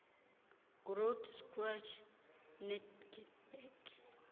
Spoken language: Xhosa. groote schuur netygerberg